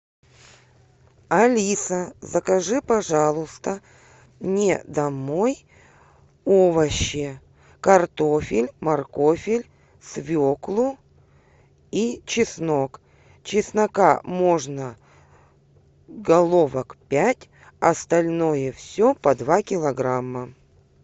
алиса закажи пожалуйста мне домой овощи картофель моркофель свеклу и чеснок чеснока можно головок пять остальное все по два килограмма